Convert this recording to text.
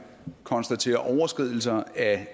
konstaterer overskridelser af